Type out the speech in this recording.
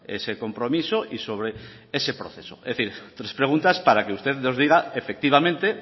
ese compromiso y sobre ese proceso es decir tres preguntas para que usted nos diga efectivamente